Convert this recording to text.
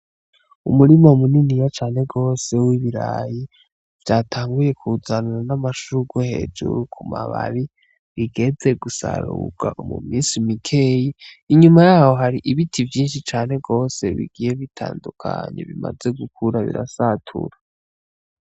Umurima muniniya cane gose w'ibiraya vyatanguye kuzana n'amashurwe hejuru ku mababi bigeze gusarurwa mu misi mikeyi, inyuma yaho hari ibiti vyinshi cane gose bigiye bitandukanye bimaze gukura birasatura.